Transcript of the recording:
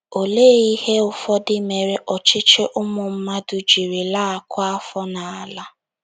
Olee ihe ụfọdụ mere ọchịchị ụmụ mmadụ jirila kụọ afọ n’ala?